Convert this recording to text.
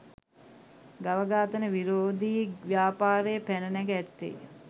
ගව ඝාතන විරෝධී ව්‍යාපාරය පැන නැග ඇත්තේ